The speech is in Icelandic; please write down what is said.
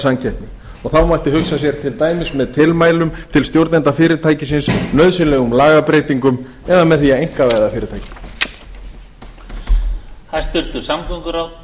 samkeppni og þá mætti hugsa sér til dæmis með tilmælum til stjórnenda fyrirtækisins nauðsynlegum lagabreytingum eða með því að einkavæða fyrirtækið